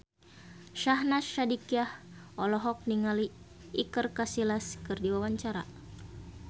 Syahnaz Sadiqah olohok ningali Iker Casillas keur diwawancara